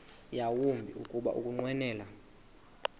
yawumbi kuba ukunqwenela